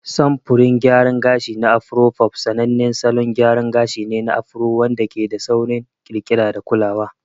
Samfurin gayaran gashi na Afro fof sanannen salon gyara gashi ne na Afro wanda ke da sauƙin ƙirƙira da kulawa.